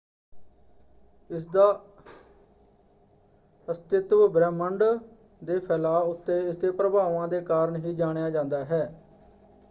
ਇਸਦਾ ਅਸਤਿਤਵ ਬ੍ਰਹਿਮੰਡ ਦੇ ਫੈਲਾਅ ਉੱਤੇ ਇਸਦੇ ਪ੍ਰਭਾਵਾਂ ਦੇ ਕਾਰਨ ਹੀ ਜਾਣਿਆ ਜਾਂਦਾ ਹੈ।